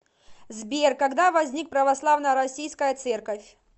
сбер когда возник православная российская церковь